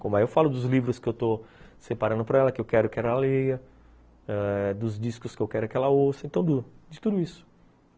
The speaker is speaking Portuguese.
Como eu falo dos livros que eu estou separando para ela, que eu quero que ela leia ãh dos discos que eu quero que ela ouça, de tudo isso.